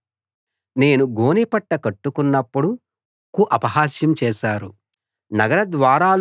నేను గోనెపట్ట కట్టుకున్నప్పుడు వారు అపహాస్యం చేశారు